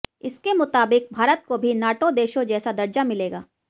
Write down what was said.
इसके मुताबिक भारत को भी नाटो देशों जैसा दर्जा मिलेगा